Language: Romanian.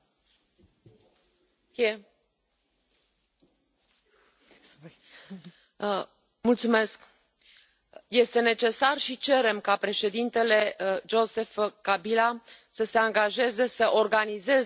Doamnă președintă, este necesar și cerem ca președintele Joseph Kabila să se angajeze să organizeze alegeri parlamentare înainte de 23 decembrie